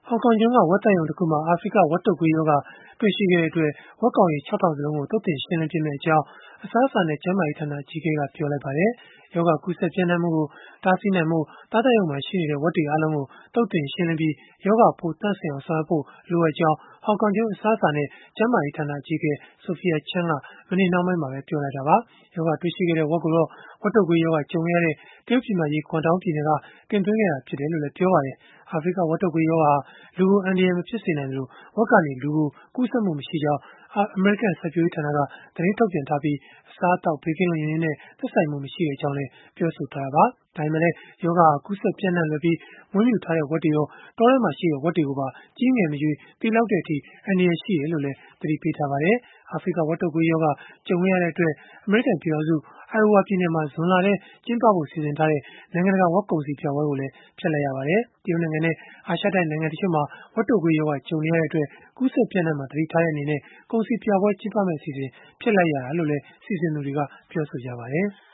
ောင်ကောင်ကျွန်းက ဝက်သတ်ရုံတခုမှာ အာဖရိက ဝက်တုပ်ကွေးရောဂါ တွေ့ရှိခဲ့တဲ့အတွက် ဝက်ကောင်ရေ ၆၀၀၀ စလုံးကို သုတ်သင်ရှင်းလင်းပစ်မယ့်အကြောင်း အစားအစာနဲ့ ကျန်းမာရေးဌာန အကြီးအကဲက ပြောဆိုလိုက်ပါတယ်။ ရောဂါကူးစက် ပျံ့နှံ့မှုကို တားဆီးနိုင်ဖို့ သားသတ်ရုံမှာရှိနေတဲ့ ဝက်တွေအားလုံးကို သုတ်သင်ရှင်းလင်းပြီး ရောဂါပိုး သန့်စင်အောင် ဆောင်ရွက်ဖို့ လိုအပ်ကြောင်း ဟောင်ကောင်ကျွန်း အစားအစာနဲ့ ကျန်းမာရေးဌာန အကြီးအကဲ Sophia Chan က မနေ့နှောင်းပိုင်းမှာပဲ ပြောဆိုလိုက်တာပါ။ ရောဂါတွေ့ရှိခဲ့တဲ့ ဝက်ကိုတော့ ဝက်တုပ်ကွေးရောဂါ ကြုံခဲ့ရတဲ့ တရုတ်ပြည်မကြီး Guangdong ပြည်နယ်က တင်သွင်းခဲ့တာ ဖြစ်တယ်လို့လည်း ပြောပါတယ်။ အာဖရိက ဝက်တုပ်ကွေးရောဂါဟာ လူကိုအန္တရာယ် မဖြစ်နိုင်သလို ဝက်ကနေ လူကိုကူးစက်မှု မရှိကြောင်း အမေရိကန် စိုက်ပျိုးရေးဌာနက သတင်းထုတ်ပြန်ထားပြီး အစားအသောက် ဘေးကင်းလုံခြုံရေးနဲ့ သက်ဆိုင်မှု မရှိကြောင်းလည်း ပြောဆိုထားတာပါ။ ဒါပေမဲ့လည်း ရောဂါဟာ ကူးစက်ပြန့်နှံ့လွယ်ပြီး မွေးမြူထားတဲ့ ဝက်တွေရော တောထဲမှာရှိတဲ့ ဝက်တွေကိုပါ ကြီးငယ်မရွေး သေလောက်တဲ့အထိ အန္တရာယ်ရှိတယ်လို့လည်း သတိပေးထားပါတယ်။ အာဖရိက ဝက်တုပ်ကွေးရောဂါ ကြုံခဲ့ရတဲ့အတွက် အမေရိကန်ပြည်ထောင်စု Iowa ပြည်နယ်မှာ ဇွန်လထဲ ကျင်းပဖို့ စီစဉ်ထားတဲ့ နိုင်ငံတကာ ဝက်ကုန်စည်ပြပွဲကိုလည်း ဖျက်လိုက်ရပါတယ်။ တရုတ်နိုင်ငံနဲ့ အာရှတိုက် နိုင်ငံတချို့မှာ ဝက်တုပ်ကွေးရောဂါ ကြုံနေရတဲ့အတွက် ကူးစက် ပျံ့နှံ့မှာကို သတိထားတဲ့အနေနဲ့ ကုန်စည်ပြပွဲ ကျင်းပမယ့်အစီအစဉ် ဖျက်လိုက်ရတာလို့လည်း စီစဉ်သူတွေက ပြောဆိုထားကြပါတယ်။